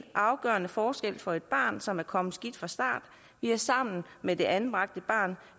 afgørende forskel for et barn som er kommet skidt fra start vi er sammen med det anbragte barn